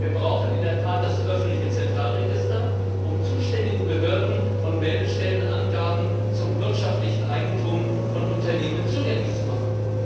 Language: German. Wir brauchen in der Tat das öffentliche Zentralregister, um zuständigen Behörden und Meldestellen Angaben zum wirtschaftlichen Eigentum von Unternehmen zugänglich zu machen.